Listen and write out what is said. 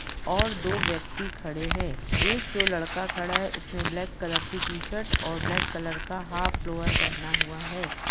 और दो व्यक्ति खड़े हैं एक जो लड़का खड़ा है उसने ब्लैक कलर की टि-शर्ट और ब्लैक कलर का हाफ लोवर पहना हुआ है।